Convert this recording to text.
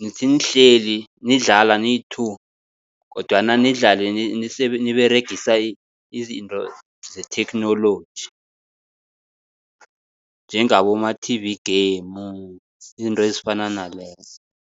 nithi nihleli nidlala niyi-two kodwana nidlale niberegisa izinto zetheknoloji, njengaboma-T_V game izinto ezifana nalezo.